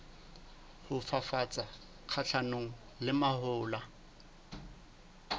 ho fafatsa kgahlanong le mahola